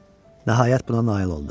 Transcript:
Nəhayət buna nail oldu.